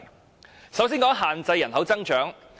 我首先談限制人口增長。